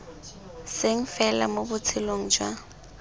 seng fela mo botshelong jwa